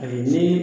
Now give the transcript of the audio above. Ani ni